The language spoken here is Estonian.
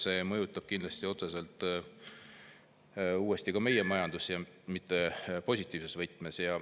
See mõjutab kindlasti otseselt ka meie majandust, ja mitte positiivses võtmes.